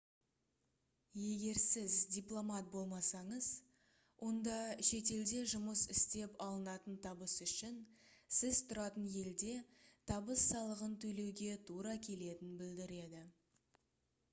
егер сіз дипломат болмасаңыз онда шетелде жұмыс істеп алынатын табыс үшін сіз тұратын елде табыс салығын төлеуге тура келетінін білдіреді